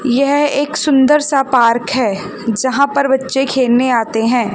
यह एक सुंदर सा पार्क है जहां पर बच्चे खेलने आते हैं।